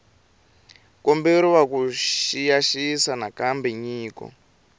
komberiwa ku xiyisisisa nakambe nyiko